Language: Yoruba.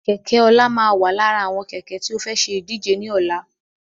Kẹ̀kẹ́ ọlá máa wà lára àwọn Kẹ̀kẹ́ tí ó fẹ́ ṣe ìdíje ni ọ̀la